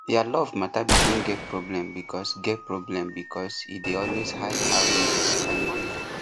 their love matter begin get problem because get problem because he dey always hide how him dey spend money